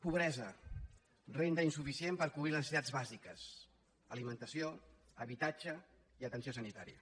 pobresa renda insuficient per cobrir les necessitats bàsiques alimentació habitatge i atenció sanitària